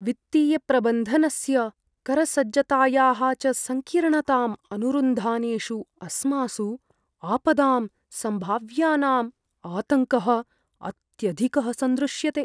वित्तीयप्रबन्धनस्य, करसज्जतायाः च सङ्कीर्णताम् अनुरुन्धानेषु अस्मासु आपदां सम्भाव्यानाम् आतङ्कः अत्यधिकः सन्दृश्यते।